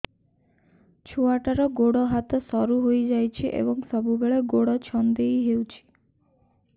ଛୁଆଟାର ଗୋଡ଼ ହାତ ସରୁ ହୋଇଯାଇଛି ଏବଂ ସବୁବେଳେ ଗୋଡ଼ ଛଂଦେଇ ହେଉଛି